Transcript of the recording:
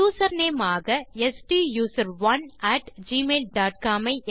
username ஆக ஸ்டூசரோன் at Gmail dot com